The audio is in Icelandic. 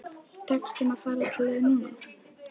Tekst þeim að fara alla leið núna?